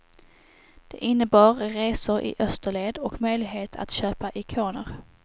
Det innebar resor i österled och möjlighet att köpa ikoner.